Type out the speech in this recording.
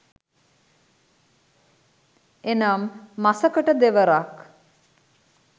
එනම් මසකට දෙවරක්